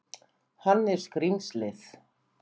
Hann er skrímslið.